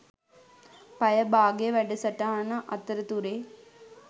පැය බාගේ වැඩසටහන අතරතුරේ.